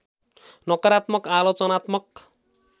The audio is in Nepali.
नकारात्मक आलोचनात्मक